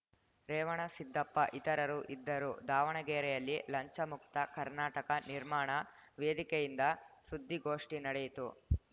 ರೇವಣಸಿದ್ದಪ್ಪ ಇತರರು ಇದ್ದರು ದಾವಣಗೆರೆಯಲ್ಲಿ ಲಂಚಮುಕ್ತ ಕರ್ನಾಟಕ ನಿರ್ಮಾಣ ವೇದಿಕೆಯಿಂದ ಸುದ್ದಿಗೋಷ್ಠಿ ನಡೆಯಿತು